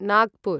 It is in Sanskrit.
नागपुर्